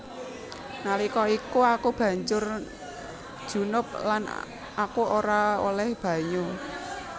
Nalika iku aku banjur junub lan aku ora olèh banyu